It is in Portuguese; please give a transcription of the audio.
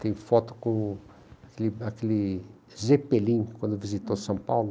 Tem foto com aquele aquele Zepelin, quando visitou São Paulo.